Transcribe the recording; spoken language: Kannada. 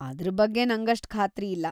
ಅದ್ರ್ ಬಗ್ಗೆ ನಂಗಷ್ಟ್‌ ಖಾತ್ರಿ ಇಲ್ಲ.